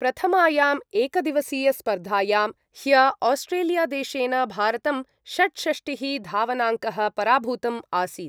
प्रथमायाम् एकदिवसीयस्पर्धायां ह्य आस्ट्रेलियादेशेन भारतं षड्षष्टिः धावनाङ्कः पराभूतम् आसीत्।